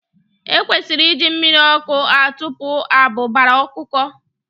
E kwesịrị iji mmiri ọkụ atụpụ abụbara ọkụkọ.